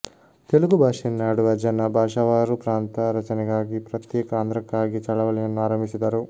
ತೆಲುಗು ಭಾಷೆಯನ್ನಾಡುವ ಜನ ಭಾಷಾವಾರು ಪ್ರಾಂತ ರಚನೆಗಾಗಿ ಪ್ರತ್ಯೇಕ ಆಂಧ್ರಕ್ಕಾಗಿ ಚಳವಳಿಯನ್ನು ಆರಂಭಿಸಿದರು